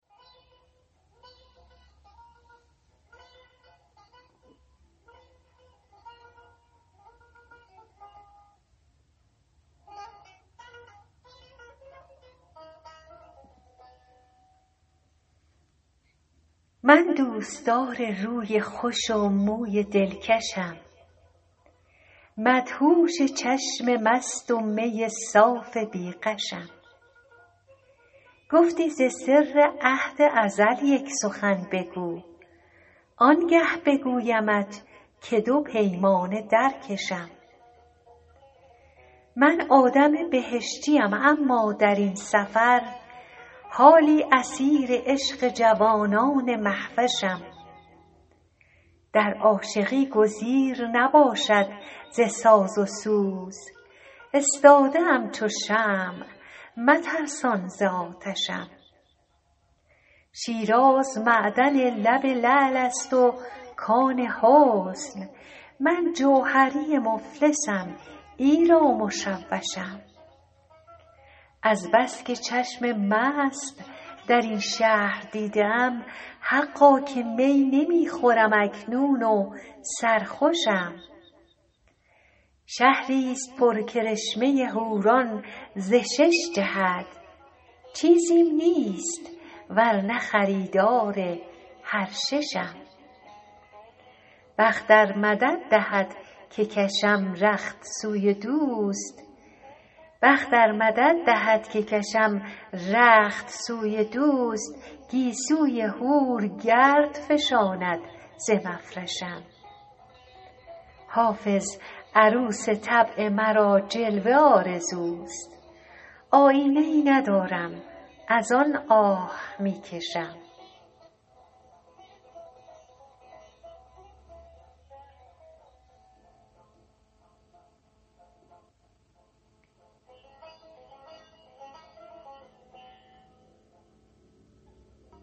من دوستدار روی خوش و موی دلکشم مدهوش چشم مست و می صاف بی غشم گفتی ز سر عهد ازل یک سخن بگو آنگه بگویمت که دو پیمانه در کشم من آدم بهشتیم اما در این سفر حالی اسیر عشق جوانان مهوشم در عاشقی گزیر نباشد ز ساز و سوز استاده ام چو شمع مترسان ز آتشم شیراز معدن لب لعل است و کان حسن من جوهری مفلسم ایرا مشوشم از بس که چشم مست در این شهر دیده ام حقا که می نمی خورم اکنون و سرخوشم شهریست پر کرشمه حوران ز شش جهت چیزیم نیست ور نه خریدار هر ششم بخت ار مدد دهد که کشم رخت سوی دوست گیسوی حور گرد فشاند ز مفرشم حافظ عروس طبع مرا جلوه آرزوست آیینه ای ندارم از آن آه می کشم